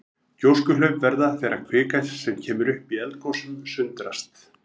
Gjóskuhlaup verða þegar kvika sem kemur upp í eldgosum sundrast.